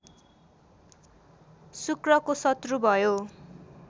शुक्रको शत्रु भयो